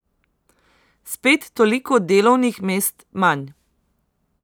Spet toliko delovnih mest manj.